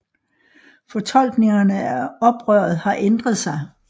Fortolkningerne af oprøret har ændret sig